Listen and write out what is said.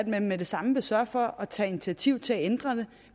man med det samme vil sørge for at tage initiativ til at ændre det